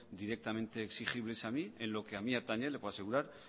directamente exigibles a mí en lo que a mi atañe le puedo asegurar